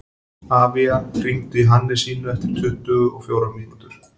Avía, hringdu í Hannesínu eftir tuttugu og fjórar mínútur.